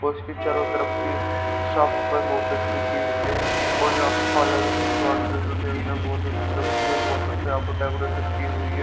और इसकी चारो तरफ की साफ सफाई बहुत अच्छी की हुई है और यहां पर पार्लर की दुकान भी देखने को बहुत अच्छी लगती है बहोत अच्छी यहां पे डेकोरेशन की हुई है।